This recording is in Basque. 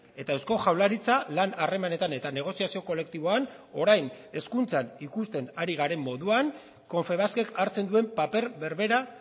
eta eusko jaurlaritza lan harremanetan eta negoziazio kolektiboan orain hezkuntzan ikusten ari garen moduan confebaskek hartzen duen paper berbera